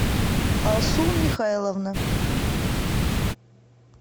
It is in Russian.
алсу михайловна